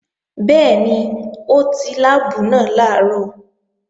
Bẹ́ẹ̀ni, ó ti láàbù náà làárọ̀